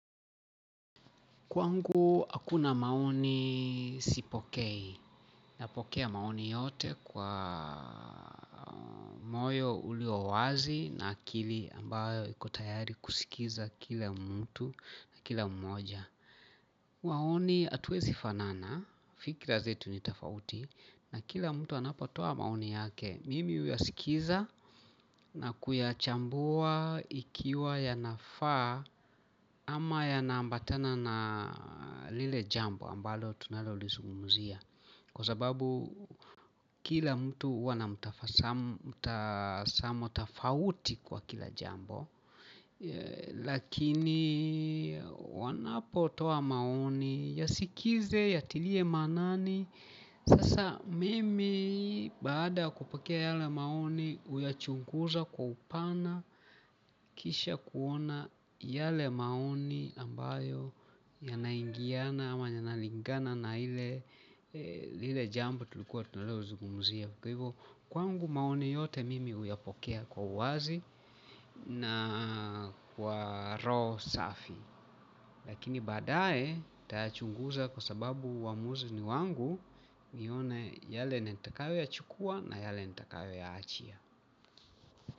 Kwangu, hakuna maoni sipokei. Napokea maoni yote kwa moyo uliowazi na akili ambayo iko tayari kusikiza kila mtu kila mmoja. Maoni hatuezi fanana, fikira zetu ni tofauti, na kila mtu anapotoa maoni yake. Mimi huyasikiza na kuyachambua ikiwa yanafaa ama yanaambatana na lile jambo ambalo tunalolizungumzia kwa sababu kila mtu huwa na mutazamo tofauti kwa kila jambo lakini wanapotoa maoni, yasikize, yatilie maanani sasa mimi baada ya kupokea yale maoni huyachunguza kwa upana kisha kuona yale maoni ambayo yanaingiana ama yanalingana na lile jambo tunalozungumzia kwa hivyo, kwangu maoni yote mimi huyapokea kwa uwazi na kwa roho safi lakini baadae, nitayachunguza kwa sababu uwamuzi ni wangu nione yale nitakayoyachukua na yale nitakayoyaachia.